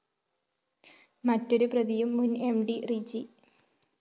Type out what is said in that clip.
മറ്റൊരു പ്രതിയും മുന്‍ എം ഡി റിജി ജി